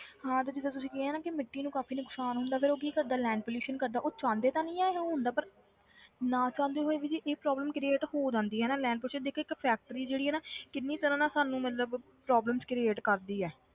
ਹਾਂ ਤੇ ਜਿੱਦਾਂ ਤੁਸੀਂ ਕਿਹਾ ਨਾ ਕਿ ਮਿੱਟੀ ਨੂੰ ਕਾਫ਼ੀ ਨੁਕਸਾਨ ਹੁੰਦਾ ਫਿਰ ਉਹ ਕੀ ਕਰਦਾ land pollution ਕਰਦਾ ਉਹ ਚਾਹੁੰਦੇ ਤਾਂ ਨੀ ਇਹਨੂੰ ਹੁੰਦਾ ਪਰ ਨਾ ਚਾਹੁੰਦੇ ਹੋਏ ਵੀ ਜੇ ਇਹ problem create ਹੋ ਜਾਂਦੀ ਆ ਨਾ land pollution ਦੇਖ ਇੱਕ factory ਜਿਹੜੀ ਆ ਨਾ ਕਿੰਨੀ ਤਰ੍ਹਾਂ ਨਾਲ ਸਾਨੂੰ ਮਤਲਬ problems create ਕਰਦੀ ਆ,